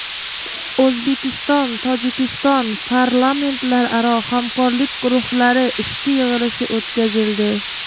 O‘zbekistonTojikiston parlamentlararo hamkorlik guruhlari ishchi yig‘ilishi o‘tkazildi.